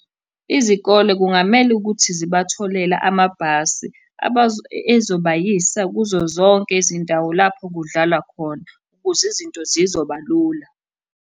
Izikole kungamele ukuthi zibatholele amabhasi ezobayisa kuzo zonke izindawo lapho kudlalwa khona ukuze izinto zizoba lula.